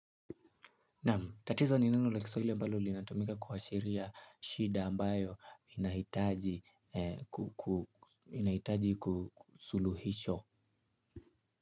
Naam tatizo ni neno la kiswahili ambalo linatumika kuashiria shida ambayo inahitaji ku suluhisho.